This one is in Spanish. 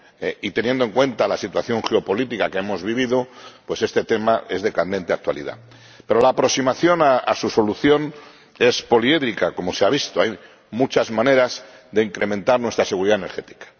y teniendo en cuenta la situación geopolítica que hemos vivido, pues este tema es de candente actualidad. Pero la aproximación a su solución es poliédrica, como se ha visto hay muchas maneras de incrementar nuestra seguridad energética.